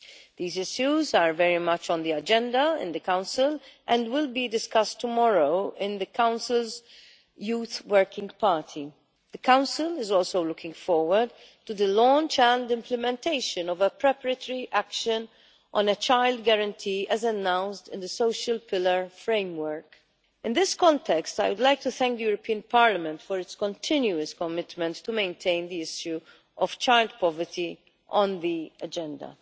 These issues are very much on the agenda in the Council and will be discussed tomorrow in the Council's Youth Working Party. The Council is also looking forward to the launch and implementation of a preparatory action on a child guarantee as announced in the Social Pillar framework. In this context, I would like to thank Parliament for its continuous commitment to maintaining the issue of child poverty on the agenda.